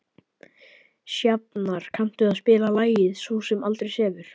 Sjafnar, kanntu að spila lagið „Sú sem aldrei sefur“?